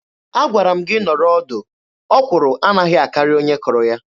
Agwara m gị nọrọ ọdụ. Ọkwụrụ anaghị akarị onye kụrụ ya.